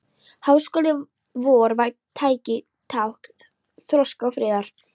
Háskóli vor væri tákn þroska og friðar.